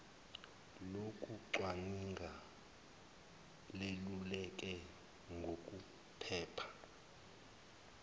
lokucwaninga leluleke ngokuphepha